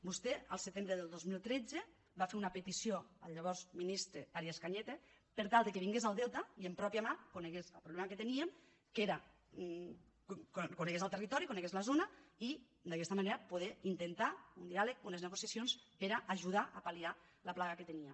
vostè el setembre del dos mil tretze va fer una petició al llavors ministre arias cañete per tal que vingués al delta i de pròpia mà conegués el problema que teníem conegués el territori conegués la zona i d’aquesta manera poder intentar un diàleg unes negociacions per a ajudar a pal·liar la plaga que tenia